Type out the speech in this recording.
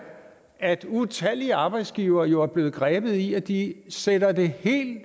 at utallige arbejdsgivere jo er blevet grebet i at de sætter det